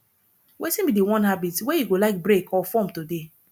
wetin be di one habit wey you go like break or form today